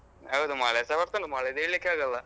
ಹೌದು ಮಳೆಸ ಬರ್ತದೆ ಮಲೆಯದ್ದು ಹೇಳಿಕ್ಕೆ ಆಗಲ್ಲ.